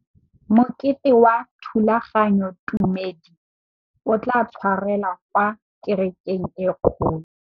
Mokete wa thulaganyôtumêdi o tla tshwarelwa kwa kerekeng e kgolo.